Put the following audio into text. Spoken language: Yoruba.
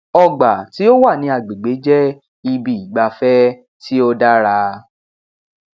ọgbà tí ó wà ní agbègbè jẹ ibi ìgbafẹ tí ó dára